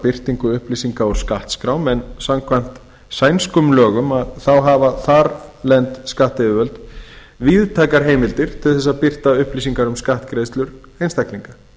birtingu upplýsinga úr skattskrám samkvæmt sænskum lögum hafa þarlend skattyfirvöld víðtækar heimildir til að birta upplýsingar um skattgreiðslur einstaklinga